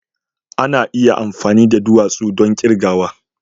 Ana iya amfani da duwatsu don kirgawa